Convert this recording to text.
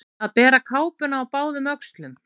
Að bera kápuna á báðum öxlum